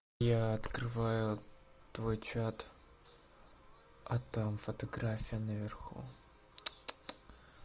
я открываю твой чат а там фотография наверху